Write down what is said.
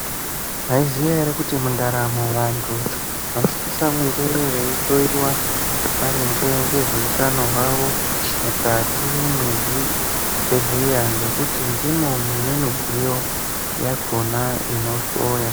Maiziya ere kuti mundaramo vantu vanosisa kunge veihloyiwa maringe ngezveutano hwavo mukati mwezvibhedhleya ngekuti ndimo mune midziyo yakhona inohloya.